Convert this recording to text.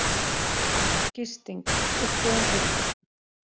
Gisting: Uppbúin rúm